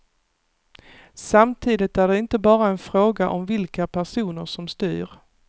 Samtidigt är det inte bara en fråga om vilka personer som styr.